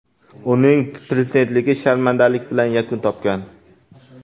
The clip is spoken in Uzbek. Uning prezidentligi sharmandalik bilan yakun topgan.